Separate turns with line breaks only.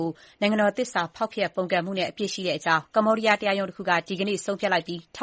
ို နိုင်ငံတော်သစ္စာဖောက်ဖျက်ပုန်ကန်မှုနဲ့ အပြစ်ရှိကြောင်း ကမ္ဘောဒီးယား တရားရုံးတခုက ဒီကနေ့ သောကြာနေ့မှာ ဆုံးဖြတ်လိုက်ပြီး ထေ